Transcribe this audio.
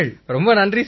ரொம்ப நன்றி சார்